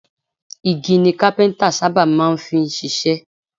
Igi ni Kápẹ́ńtà sábà máa ń fi ṣiṣẹ́.